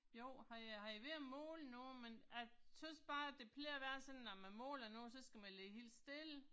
Jo, han er han er ved at måle noget, men jeg synes bare at det plejer at være sådan, når man måler noget så skal man ligge helt stille